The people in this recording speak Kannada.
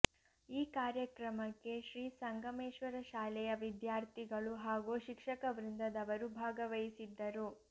ಈ ಕಾರ್ಯಕ್ರಮಕ್ಕೆ ಶ್ರೀ ಸಂಗಮೇಶ್ವರ ಶಾಲೆಯ ವಿದ್ಯಾರ್ಥಿಗಳು ಹಾಗೂ ಶಿಕ್ಷಕ ವೃಂದದವರು ಭಾಗವಹಿಸಿದ್ದರು